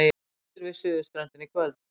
Hvessir við suðurströndina í kvöld